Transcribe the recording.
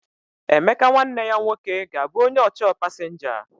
Emeka nwanne ya nwoke ga-abụ onye ọchọọ pasinja.